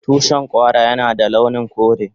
Tushin Kwara Yana da launin kore.